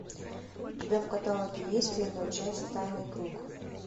у тебя в каталоге есть первая часть тайный круг